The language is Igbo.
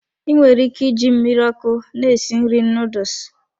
I nwere ike iji mmiri ọkụ na-esi nri noodles.